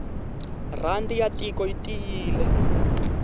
rhandi ya tiko yi tiyile